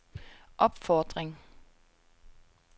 opfordring